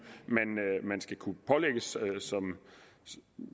man skal kunne pålægges